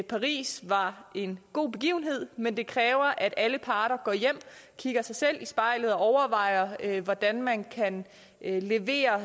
paris var en god begivenhed men det kræver at alle parter går hjem kigger sig selv i spejlet og overvejer hvordan man kan levere